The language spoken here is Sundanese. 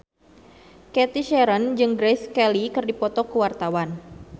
Cathy Sharon jeung Grace Kelly keur dipoto ku wartawan